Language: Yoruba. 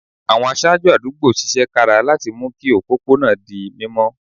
Àwọn aṣáájú àdúgbò ṣiṣẹ́ kára láti mú kí òpópó náà di mímọ́